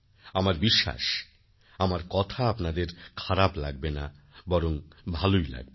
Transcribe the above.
আমার বিশ্বাস আমার কথা আপনাদের খারাপ লাগবেনা বরং ভালই লাগবে